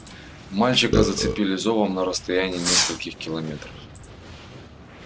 мальчика зацепили зовом на расстоянии нескольких километров